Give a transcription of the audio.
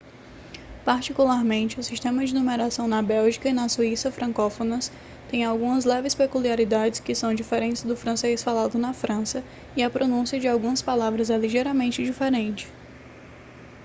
particularmente o sistema de numeração na bélgica e na suíça francófonas tem algumas leves peculiaridades que são diferentes do francês falado na frança e a pronúncia de algumas palavras é ligeiramente diferente